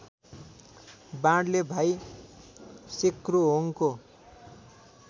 बाणले भाइ सेक्रोहोङको